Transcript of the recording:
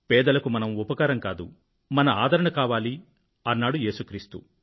పేదలకు మన ఉపకారం కాదు మన ఆదరణ కావాలి అన్నారు ఏసు క్రీస్తు